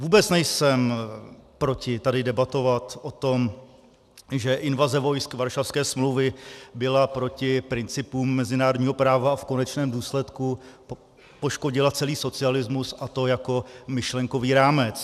Vůbec nejsem proti tady debatovat o tom, že invaze vojsk Varšavské smlouvy byla proti principům mezinárodního práva a v konečném důsledku poškodila celý socialismus, a to jako myšlenkový rámec.